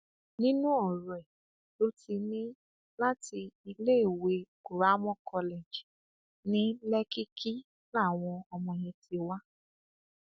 nínú ọrọ ẹ ló ti ní láti iléèwé kuramo college ní lèkìkí làwọn ọmọ yẹn ti wá